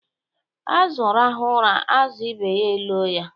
Azụ rahụ ụra, azụ ibe ya elo ya.